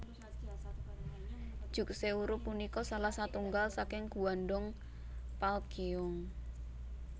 Jukseoru punika salah satunggal saking Gwandong Palgyeong